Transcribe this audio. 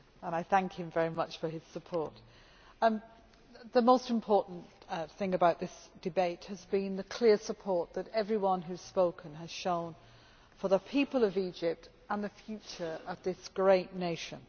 I thank him very much for his support. The most important thing about this debate has been the clear support that everyone who has spoken has shown for the people of Egypt and the future of this great nation.